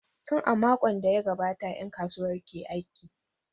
Tun a makon da ya gabata ’yan kasuwar ke aiki.